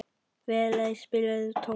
Valey, spilaðu tónlist.